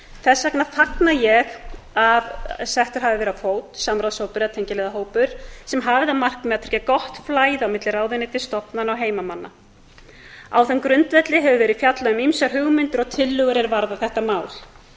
þess vegna fagna ég að settur hafi verið á fót að ráðshópur eða tengiliðahópur sem hafi það markmið að tryggja gott flæði á milli ráðuneytis stofnana og heimamanna á þeim grundvelli hefur verið fjallað um ýmsar hugmyndir og tillögur er varða þetta mál